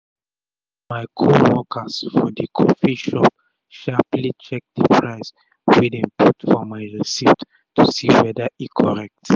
my co workers for d coffee shop sharperly check d price wey dem put for my receipt to see weda e correct